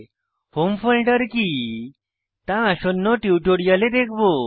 home folder কি তা আসন্ন টিউটোরিয়ালে দেখবো